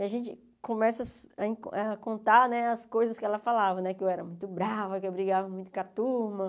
E a gente começa a contar as coisas que ela falava né, que eu era muito brava, que eu brigava muito com a turma.